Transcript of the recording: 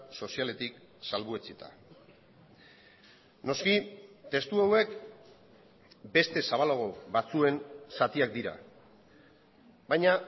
sozialetik salbuetsita noski testu hauek beste zabalago batzuen zatiak dira baina